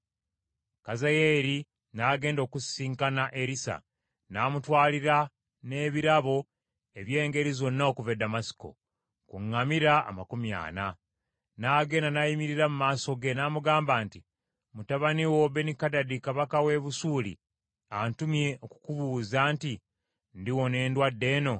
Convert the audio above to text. Kazayeeri n’agenda okusisinkana Erisa, n’amutwalira n’ebirabo eby’engeri zonna okuva e Ddamasiko , ku ŋŋamira amakumi ana. N’agenda n’ayimirira mu maaso ge, n’amugamba nti, “Mutabani wo Benikadadi kabaka w’e Busuuli antumye okukubuuza nti, ‘Ndiwona endwadde eno?’ ”